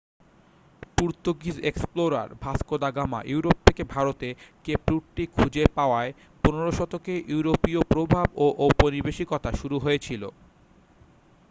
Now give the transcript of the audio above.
Portuguese explorer Vasco da Gama Europe থেকে ভারতে Cape রুটটি খুঁজে পাওয়ায় 15 শতকে ইউরোপীয় প্রভাব ও ঔপনিবেশিকতা শুরু হয়েছিল